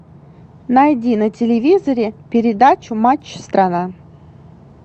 найди на телевизоре передачу матч страна